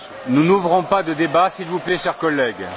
Nous n'ouvrons pas de débat, s'il vous plaît, chers collègues.